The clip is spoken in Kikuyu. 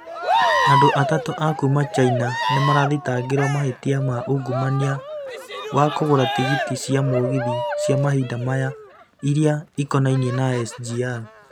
Andũ atatũ a kuuma China nĩ marathitangĩirũo mahĩtia ma ungumania wa kũgũra tigiti cia mũgithi cia mahinda maya iria ikonainie na SGR.